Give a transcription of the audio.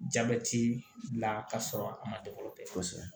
Jabɛti bila ka sɔrɔ a ma dɛ o tɛ kosɛbɛ